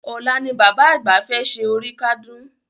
Ọ̀la ni Bàbá àgbà fẹ́ ṣe oríkádún